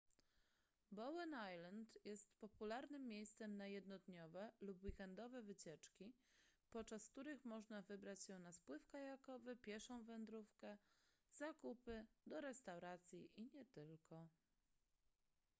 bowen island jest popularnym miejscem na jednodniowe lub weekendowe wycieczki podczas których można wybrać się na spływ kajakowy pieszą wędrówkę zakupy do restauracji i nie tylko